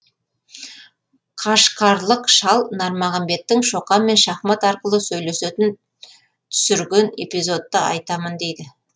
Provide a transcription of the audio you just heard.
қашқарлық шал нармағамбеттің шоқанмен шахмат арқылы сөйлесетін түсірген эпизодты айтамын дейді